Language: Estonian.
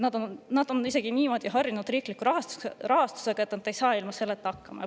Nad on riikliku rahastusega niivõrd harjunud, et nad ei saa ilma selleta hakkama.